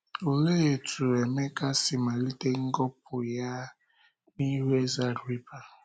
Olee otú Emeka si malite ngọpụ ya n’ihu eze Agrịpa?